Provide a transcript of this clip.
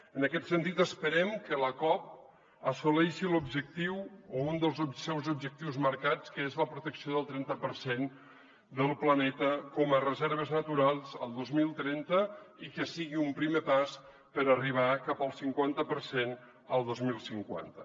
en aquest sentit esperem que la cop assoleixi l’objectiu o un dels seus objectius marcats que és la protecció del trenta per cent del planeta com a reserves naturals el dos mil trenta i que sigui un primer pas per arribar cap al cinquanta per cent el dos mil cinquanta